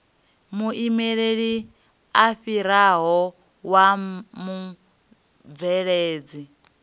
muimeli a fhirisaho wa mubveledzi